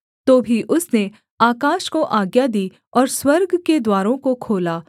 तो भी उसने आकाश को आज्ञा दी और स्वर्ग के द्वारों को खोला